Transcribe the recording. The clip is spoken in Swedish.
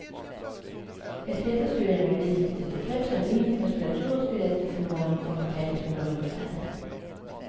Ett flertal studier har nämligen visat att det främst är benens muskulatur och skelett som förlorar i omfång och täthet under rymdfärder.